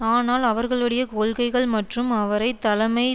ஆனால் அவர்களுடைய கொள்கைகள் மற்றும் அவரை தலைமை